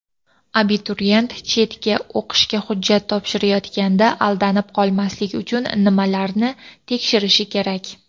Abituriyent chetga o‘qishga hujjat topshirayotganda aldanib qolmaslik uchun nimalarni tekshirishi kerak?.